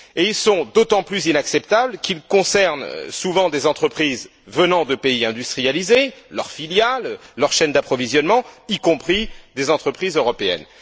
Et ils sont d'autant plus inacceptables qu'ils concernent souvent des entreprises venant de pays industrialisés, leurs filiales, leur chaîne d'approvisionnement, y compris des entreprises européennes.